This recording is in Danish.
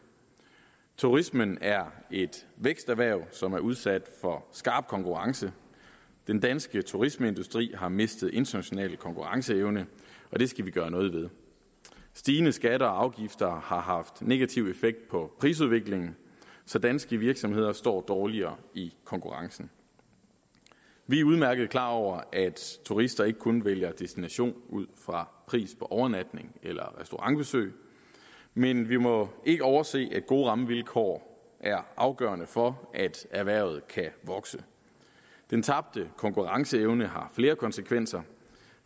turismen er et væksterhverv som er udsat for skarp konkurrence den danske turismeindustri har mistet international konkurrenceevne og det skal vi gøre noget ved stigende skatter og afgifter har haft negativ effekt på prisudviklingen så danske virksomheder står dårligere i konkurrencen vi er udmærket klar over at turister ikke kun vælger destination ud fra pris på overnatning eller restaurantbesøg men vi må ikke overse at gode rammevilkår er afgørende for at erhvervet kan vokse den tabte konkurrenceevne har flere konsekvenser